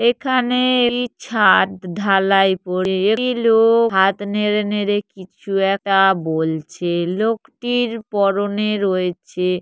এখানে এই ছাদ ঢালাই করে একটি লোক হাত নেড়ে নেড়ে কিছু একা বলছে। লোকটির পরনে রয়েছে।